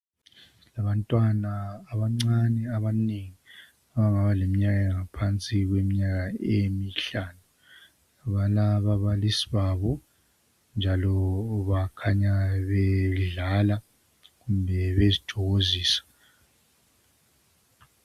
Abantwana abancane abanengi abangaba leminyaka angaphansi kweminyaka emihlanu. Balababalisi babo, njalo bakhanya bedlala kumbe bezithokozisa.